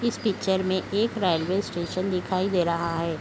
इस पिक्चर मे एक प्राइवेट स्टेशन दिखाई दे रहा ।